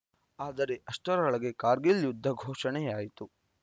ಆದರೆ ಅಷ್ಟರೊಳಗೆ ಕಾರ್ಗಿಲ್‌ ಯುದ್ಧ ಘೋಷಣೆಯಾಯಿತು